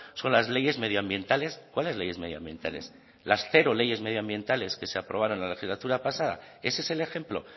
son las leyes medioambientales cuáles leyes medioambientales las cero leyes medioambientales que se aprobaron en la legislatura pasada ese es el ejemplo